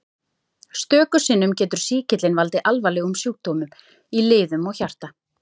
Stöku sinnum getur sýkillinn valdið alvarlegum sjúkdómum í liðum og hjarta.